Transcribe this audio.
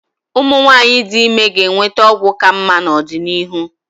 Ụmụ nwanyị dị ime ga-enweta ọgwụ ka mma n'ọdịnihu.